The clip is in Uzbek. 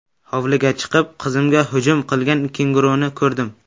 Hovliga chiqib, qizimga hujum qilgan kenguruni ko‘rdim.